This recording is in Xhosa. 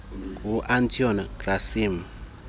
ngu antonio gramsci